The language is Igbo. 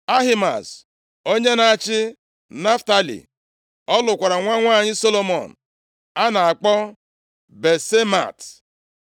Ahimaaz, onye na-achị Naftalị (ọ lụkwara nwa nwanyị Solomọn a na-akpọ Basemat).